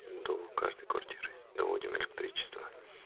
до каждой квартиры доводим электричество